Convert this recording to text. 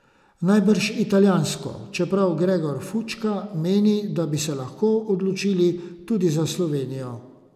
Najbrž italijansko, čeprav Gregor Fučka meni, da bi se lahko odločili tudi za Slovenijo.